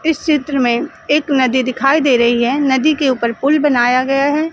इस चित्र में एक नदी दिखाई दे रही है नदी के ऊपर पुल बनाया गया है।